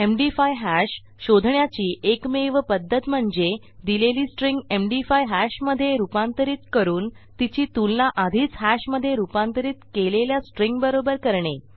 MD five hash शोधण्याची एकमेव पध्दत म्हणजे दिलेली स्ट्रिंग एमडी5 हॅश मधे रूपांतरित करून तिची तुलना आधीच हॅश मधे रूपांतरित केलेल्या स्ट्रिंगबरोबर करणे